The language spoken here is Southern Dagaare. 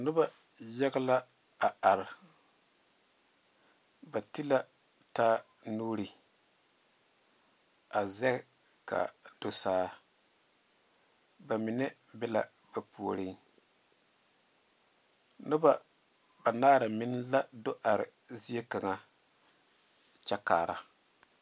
Noba yaga la are ba te la taa nuuri a zeŋɛ kaa do saa ba mine be la ba puoriŋ noba banaare meŋ la do are zieŋ kaŋe kyɛ kaare.